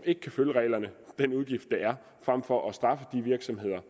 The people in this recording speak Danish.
ikke kan følge reglerne den udgift der er frem for at straffe de virksomheder